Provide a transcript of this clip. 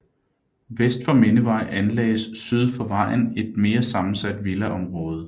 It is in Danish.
Vest for Mindevej anlagdes syd for vejen et mere sammensat villaområde